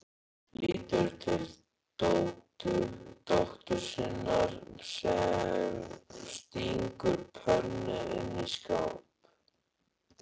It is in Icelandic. Lítur til dóttur sinnar sem stingur pönnu inn í skáp.